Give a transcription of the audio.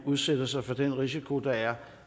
udsætter sig for den risiko der er